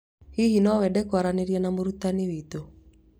Hihi no wende kwaria na mũrutani witũ